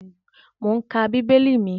Mò ún ka bíbélì mi